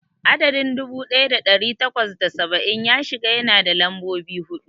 Adadin dubu daya da dari takwas da saba'in da shida yana da lambobi hudu.